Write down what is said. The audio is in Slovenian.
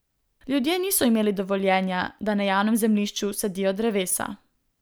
Ljudje niso imeli dovoljenja, da na javnem zemljišču sadijo drevesa.